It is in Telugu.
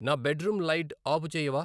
నా బెడ్రూం లైట్ ఆపుచేయవా